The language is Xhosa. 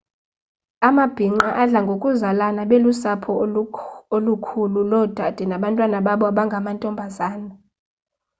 amabhinqa adla ngokuzalana belusapho olukhulu loodade nabantwana babo abangamantombazana